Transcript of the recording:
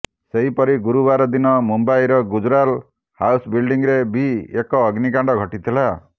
ସେହିପରି ଗୁରୁବାର ଦିନ ମୁମ୍ବାଇର ଗୁଜୁରାଲ ହାଉସ୍ ବିଲଡିଂରେ ବି ଏକ ଅଗ୍ନିକାଣ୍ଡ ଘଟିଥିଲା